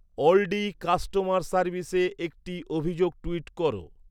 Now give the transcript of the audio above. Oldi customer সার্ভিসে একটি অভিযোগ টুইট করো